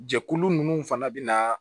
Jɛkulu ninnu fana bɛ na